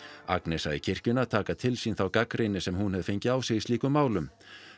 Agnes sagði kirkjuna taka til sín þá gagnrýni sem hún hefði fengið á sig í slíkum málum